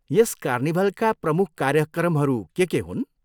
यस कार्निभलका प्रमुख कार्यक्रमहरू के के हुन्?